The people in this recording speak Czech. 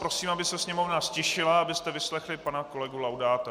Prosím, aby se Sněmovna ztišila, abyste vyslechli pana kolegu Laudáta.